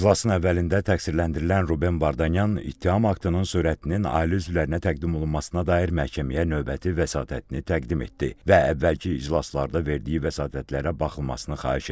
İclasın əvvəlində təqsirləndirilən Ruben Vardanyan ittiham aktının sürətinin ailə üzvlərinə təqdim olunmasına dair məhkəməyə növbəti vəsatətini təqdim etdi və əvvəlki iclaslarda verdiyi vəsatətlərə baxılmasını xahiş etdi.